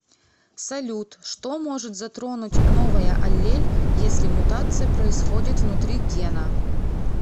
салют что может затронуть новая аллель если мутация происходит внутри гена